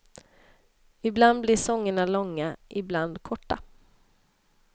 Ibland blir sångerna långa, ibland korta.